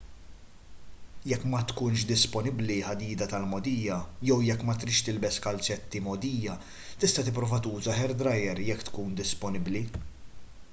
jekk ma tkunx disponibbli ħadida tal-mogħdija jew jekk ma tridx tilbes kalzetti mgħoddija tista' tipprova tuża hair dryer jekk tkun disponibbli